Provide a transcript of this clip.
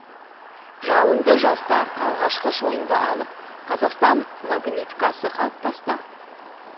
жалынды жастар алғашқы шойынды алып қазақстан магниткасы қалыптасты